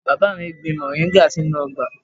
Bàbá mi gbìn moringa sínú ọgbà.